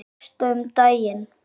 Gústa um daginn.